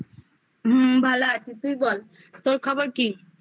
হুম ভালো আছি তুই বল তোর খবর কি